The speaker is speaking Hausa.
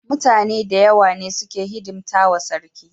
Mutane dayawa ne suke hidimtawa sarki